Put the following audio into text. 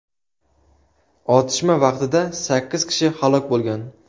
Otishma vaqtida sakkiz kishi halok bo‘lgan.